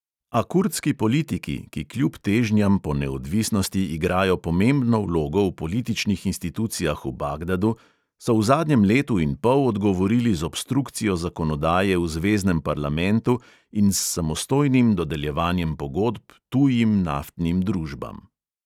A kurdski politiki, ki kljub težnjam po neodvisnosti igrajo pomembno vlogo v političnih institucijah v bagdadu, so v zadnjem letu in pol odgovorili z obstrukcijo zakonodaje v zveznem parlamentu in s samostojnim dodeljevanjem pogodb tujim naftnim družbam.